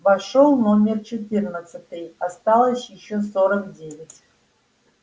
вошёл номер четырнадцатый осталось ещё сорок девять